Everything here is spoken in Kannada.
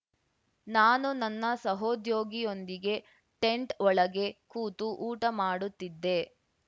ನಾನು ನನ್ನ ಸಹೋದ್ಯೋಗಿಯೊಂದಿಗೆ ಟೆಂಟ್‌ ಒಳಗೆ ಕೂತು ಊಟ ಮಾಡುತ್ತಿದ್ದೆ